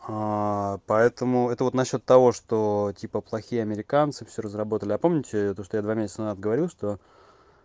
поэтому это вот насчёт того что типа плохие американцы всё разработали а помните то что я два месяца назад говорил что